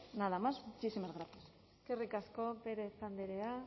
nada más muchísimas gracias eskerrik asko pérez andrea